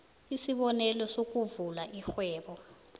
isibonelo sokuvula irhwebo